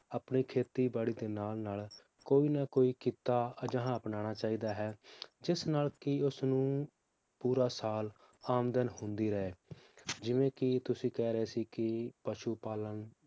ਆਪਣੇ ਖੇਤੀ ਬਾੜੀ ਦੇ ਨਾਲ ਨਾਲ ਕੋਈ ਨਾ ਕੋਈ ਕੀਤਾ ਅਜਿਹਾ ਅਪਨਾਨਾ ਚਾਹੀਦਾ ਹੈ ਜਿਸ ਨਾਲ ਕੀ ਉਸਨੂੰ ਪੂਰਾ ਸਾਲ ਆਮਦਨ ਹੁੰਦੀ ਰਹੇ ਜਿਵੇ ਕੀ ਤੁਸੀਂ ਕਹਿ ਰਹੇ ਸੀ ਕੀ ਪਸ਼ੂ ਪਾਲਣ